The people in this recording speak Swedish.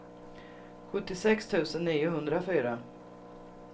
sjuttiosex tusen niohundrafyra